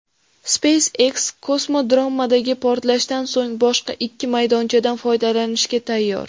SpaceX kosmodromdagi portlashdan so‘ng boshqa ikki maydonchadan foydalanishga tayyor.